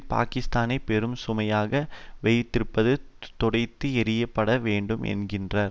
பாக்கிஸ்தானை பெரும் சுமையாக வைத்திருப்பது துடைத்து எறியப்பட வேண்டும் என்கின்றது